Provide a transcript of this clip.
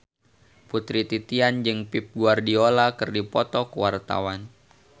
Putri Titian jeung Pep Guardiola keur dipoto ku wartawan